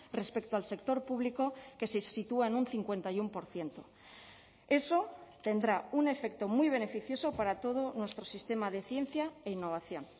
respecto al sector público que se sitúa en un cincuenta y uno por ciento eso tendrá un efecto muy beneficioso para todo nuestro sistema de ciencia e innovación